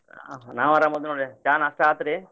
ನಾವು ಆರಾಮ್ ಅದೇವ ನೋಡ್ರಿ ಚಾ ನಾಷ್ಟಾ ಆತ್ರಿ?